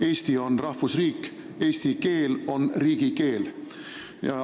Eesti on rahvusriik ja eesti keel on riigikeel.